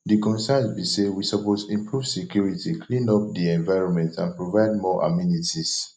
di concerns be say we suppose improve security clean up di environment and provide more amenities